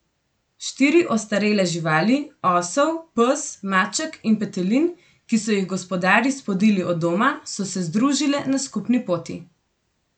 Štiri ostarele živali, osel, pes, maček in petelin, ki so jih gospodarji spodili od doma, so se združile na skupni poti.